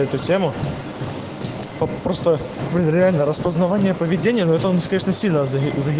эту тему просто нереально распознавание поведение но это он спешно седан